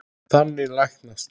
Þannig læknast